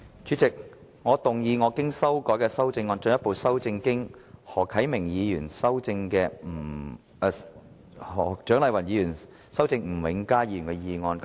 主席，我動議我經修改的修正案，進一步修正經何啟明議員和蔣麗芸議員修正的吳永嘉議員議案。